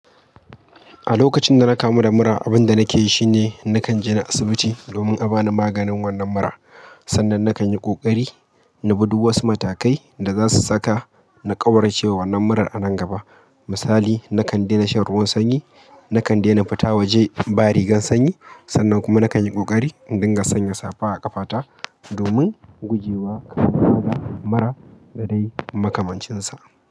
A lokacin da na da mura, abin da nake yi shine nakan je na asibiti domin a ba ni maganin wannan mura. Sannan nakan yi ƙoƙari na bi duk wasu matakai da za su saka na ƙwaurace wa wannan murar a nan gaba. Misali, nakan daina shan ruwan sanyi, nakan daina fita waje ba rigar sanyi, sannan kuma nakan yi ƙoƙari in dinga sanya safa a ƙafata domin guje wa ƙa'idar mura da dai makamancinsa.